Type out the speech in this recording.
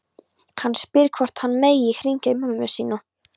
Hann spyr hvort hann megi hringja í mömmu sína.